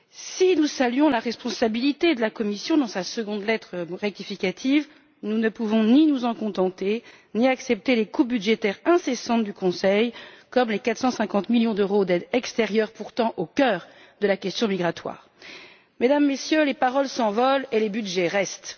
Si nous saluons la responsabilité de la Commission dans sa deuxième lettre rectificative, nous ne pouvons ni nous en contenter, ni accepter les réductions budgétaires incessantes du Conseil, comme les 450 millions d'euros d'aide extérieure, pourtant au cœur de la question migratoire. Mesdames, Messieurs, les paroles s'envolent et les budgets restent.